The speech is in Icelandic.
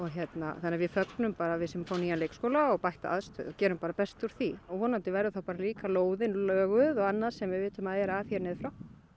þannig að við fögnum bara við séum að fá nýjan leikskóla og bætta aðstöðu gerum bara best úr því og vonandi verður þá bara líka lóðin löguð og annað sem við vitum að er að hér niður frá